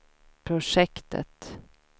projektet